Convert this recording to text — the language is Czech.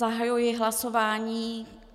Zahajuji hlasování.